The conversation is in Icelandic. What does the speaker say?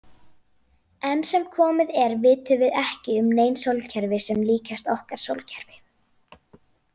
Enn sem komið er vitum við ekki um nein sólkerfi sem líkjast okkar sólkerfi.